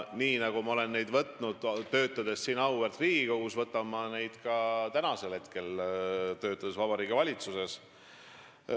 Nii võtsin ma neid siis, kui töötasin siin auväärt Riigikogus, ja nii võtan ma neid ka praegu, kui ma töötan Vabariigi Valitsuses.